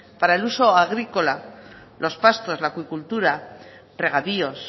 para el uso agrícola los pastos la acuicultura regadíos